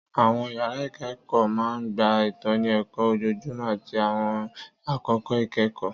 Àwọn yàrá ìkẹ́kọ̀ọ́ máa ń gba ìtọ́ni ẹ̀kọ́ ojoojúmọ́ àti àwọn àkókò ìkẹ́kọ̀ọ́